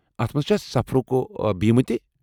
اتھ منٛز چھا سفرُک بیمہٕ تہِ ؟